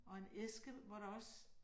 Og en æske, hvor der også